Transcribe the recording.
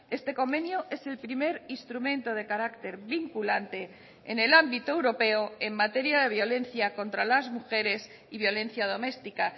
este convenio es el primer instrumento de carácter vinculante en el ámbito europeo en materia de violencia contra las mujeres y violencia doméstica